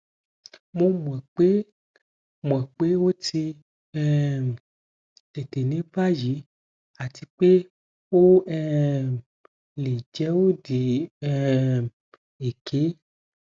mo mọ pe mọ pe o ti um tete ni bayi ati pe o um le jẹ odi um eke